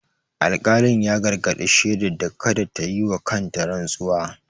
Alƙalin ya gargadi shedar da kada ta yi wa kanta rantsuwa.